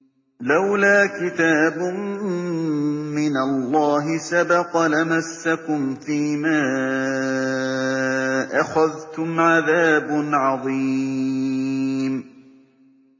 لَّوْلَا كِتَابٌ مِّنَ اللَّهِ سَبَقَ لَمَسَّكُمْ فِيمَا أَخَذْتُمْ عَذَابٌ عَظِيمٌ